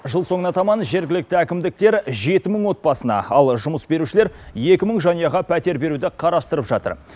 жыл соңына таман жергілікті әкімдіктер жеті мың отбасына ал жұмыс берушілер екі мың жанұяға пәтер беруді қарастырып жатыр